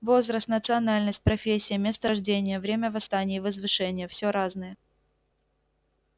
возраст национальность профессия место рождения время восстания и возвышения все разное